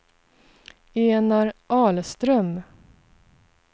Enar Ahlström